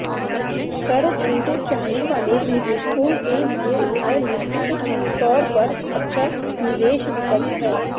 कर छूट चाहने वाले निवेशकों के लिए यह निश्चित तौर पर अच्छा निवेश विकल्प है